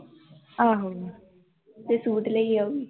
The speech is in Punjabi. ਆਹੋ ਤੇ ਸੂਟ ਲਏ ਆਊ